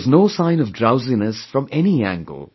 There was no sign of drowsiness from any angle